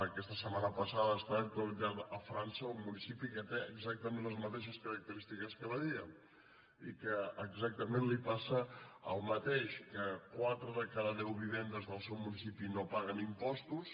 aquesta setmana passada ha estat d’actualitat a frança un municipi que té exactament les mateixes característiques que badia i que exactament li passa el mateix que quatre de cada deu vivendes del seu municipi no paguen impostos